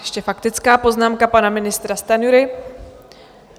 Ještě faktická poznámka pana ministra Stanjury.